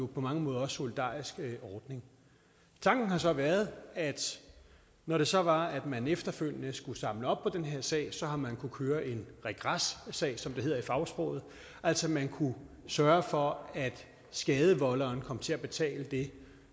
på mange måder også solidarisk ordning tanken har så været at når det så var at man efterfølgende skulle samle op på den her sag så har man kunnet køre en regressag som det hedder i fagsproget altså man kunne sørge for at skadevolderen kom til at betale det